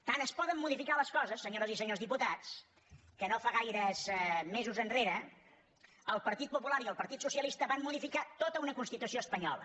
tant es poden modificar les coses senyores i senyors diputats que no fa gaires mesos enrere el partit popular i el partit socialista van modificar tota una constitució espanyola